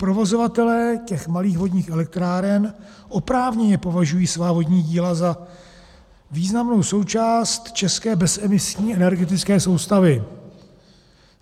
Provozovatelé těch malých vodních elektráren oprávněně považují svá vodní díla za významnou součást české bezemisní energetické soustavy.